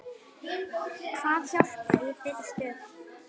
Hvað hjálpar í þeirri stöðu?